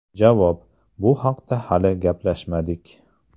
Javob: Bu haqda hali gaplashmadik.